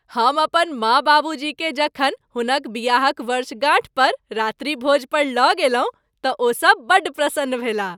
हम अपन माँ बाबूजीकेँ जखन हुनक बियाहक वर्षगांठ पर रात्रिभोज पर लऽ गेलहुँ तँ ओसब बड्ड प्रसन्न भेलाह।